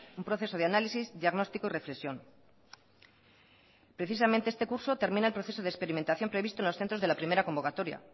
un proceso de análisis diagnóstico y reflexión precisamente este curso termina el proceso de experimentación previsto en los centros de la primera convocatoria